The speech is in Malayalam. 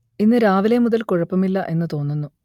ഇന്ന് രാവിലെ മുതൽ കുഴപ്പമില്ല എന്ന് തോന്നുന്നു